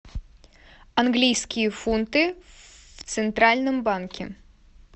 английские фунты в центральном банке